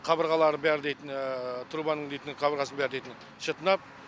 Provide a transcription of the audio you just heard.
қабырғалары бәрі дейтін трубаның дейтін қабырғасы бәрі дейтін шытынап